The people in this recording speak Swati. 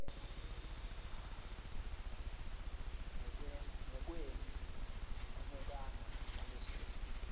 ngekweni kubukana nalesifo